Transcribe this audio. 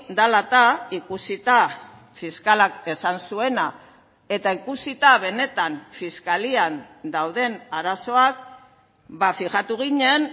dela eta ikusita fiskalak esan zuena eta ikusita benetan fiskalian dauden arazoak fijatu ginen